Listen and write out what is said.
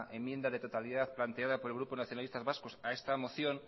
enmienda de totalidad planteada por el grupo nacionalista vasco a esta moción